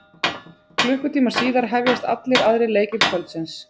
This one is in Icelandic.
Klukkutíma síðar hefjast allir aðrir leikir kvöldsins.